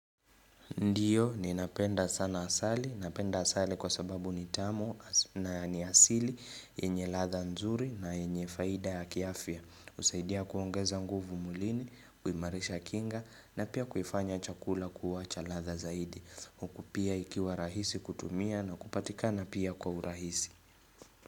Ndiyo, ninapenda sana asali. Napenda asali kwa sababu ni tamu na ni asili, yenye ladha nzuri na yenye faida ya kiafya. Husaidia kuongeza nguvu mwilini, kuimarisha kinga na pia kuifanya chakula kuwa cha ladha zaidi. Huku pia ikiwa rahisi kutumia na kupatikana pia kwa urahisi.